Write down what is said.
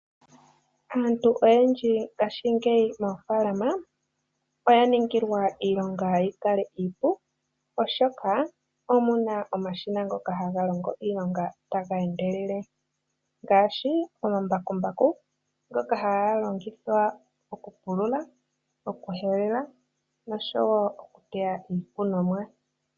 Aantu oyendji ngaashingeyi moofaalama oya ningilwa iilonga yikale iipu oshoka omuna omashina ngoka haga longo iilonga taga endelele ngaashi, omambakumbaku ngoka ha galongithwa okupulula, okuhelela, nosho wo okuteya iikunomwa.